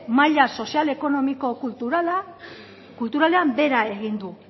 maila sozial ekonomiko kulturalean behera egin du